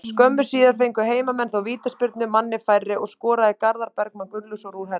Skömmu síðar fengu heimamenn þó vítaspyrnu, manni færri, og skoraði Garðar Bergmann Gunnlaugsson úr henni.